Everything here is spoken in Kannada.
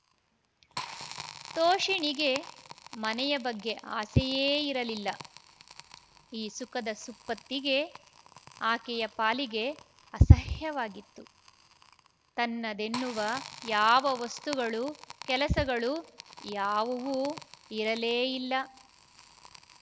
ತೋಷಿಣಿಗೆ ಮನೆಯ ಬಗ್ಗೆ ಆಸೆಯೇ ಇರಲಿಲ್ಲ ಈ ಸುಖದ ಸುಪ್ಪತ್ತಿಗೆ ಆಕೆಯ ಪಾಲಿಗೆ ಅಸಹ್ಯವಾಗಿತ್ತು ತನ್ನದೆನ್ನುವ ಯಾವ ವಸ್ತುಗಳು ಕೆಲಸಗಳು ಯಾವುವೂ ಇರಲೇಯಿಲ್ಲ